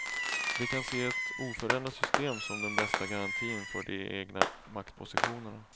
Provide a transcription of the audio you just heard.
De kan se ett oförändrat system som den bästa garantin för de egna maktpositionerna.